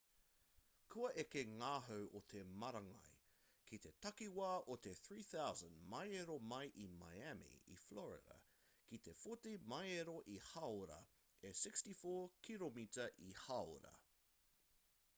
kua eke ngā hau o te marangai kei te takiwā o te 3,000 māero mai i miami i florida ki te 40 māero ia hāora e 64 kiromita ia hāora